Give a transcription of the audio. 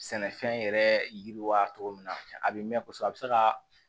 Sɛnɛfɛn yɛrɛ yiriwa cogo min na a bɛ mɛn kosɛbɛ a bɛ se ka